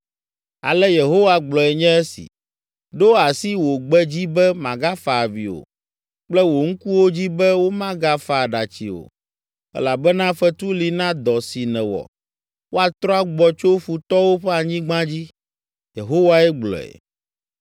Ale Yehowa gblɔe nye esi: “Ɖo asi wò gbe dzi be magafa avi o, kple wò ŋkuwo dzi be womagafa aɖatsi o, elabena fetu li na dɔ si nèwɔ, woatrɔ agbɔ tso futɔwo ƒe anyigba dzi.” Yehowae gblɔe.